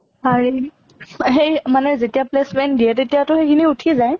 পাৰি হেৰি মানে যেতিয়া placement দিয়ে তেতিয়া টো সেই খিনি উঠিয়ে যায়?